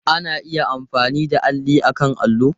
Ana iya amfani da alli akan allo.